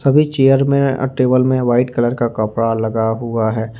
सभी चेयर में और टेबल में वाइट कलर का कपड़ा लगा हुआ है।